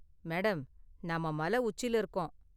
Madam, நாம மலை உச்சில இருக்கோம்.